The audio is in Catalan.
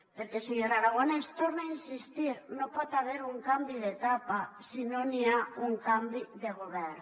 perquè senyor aragonès hi torne a insistir no hi pot haver un canvi d’etapa si no n’hi ha un canvi de govern